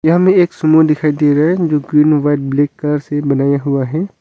यहां हमें एक सुमो दिखाई दे रहा है जो ग्रीन व्हाइट ब्लैक कलर से बनाया हुआ है।